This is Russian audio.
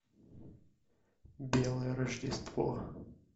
белое рождество